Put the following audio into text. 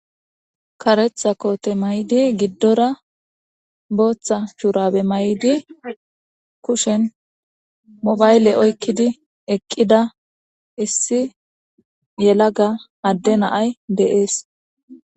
karetha koote may7di giddora booththa shuurabe may7di kushen mobayle oykkidi eqqida issi yelaga adde naay deees